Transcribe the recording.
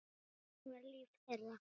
Hvernig var líf þeirra?